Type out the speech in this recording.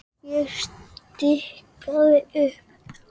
Ég stikaði upp